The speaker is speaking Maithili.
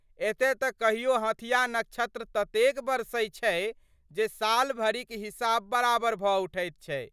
एतय तऽ कहियो हथिया नक्षत्र ततेक बरसै छै जे सालभरिक हिसाब बराबर भऽ उठैत छै।